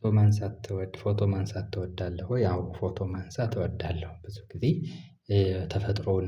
ፎቶ ማንሳት ትወድ ፎቶ ማንሳት ትወዳለህ ወይ? አዎ ፎቶ ማንሳት እወዳለሁ ብዙ ጊዜ ተፈጥሮን